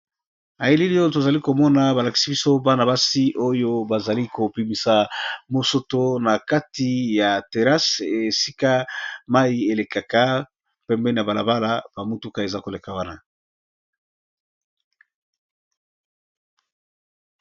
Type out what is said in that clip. Awa tozali komona balakisi biso bana-basi oyo bazali kobimisa mosoto na kati ya terase esika mai elekaka pembe na balabala bamutuka eza koleka wana.